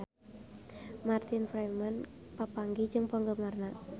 Martin Freeman papanggih jeung penggemarna